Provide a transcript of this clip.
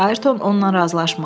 Ayrton onla razılaşmadı.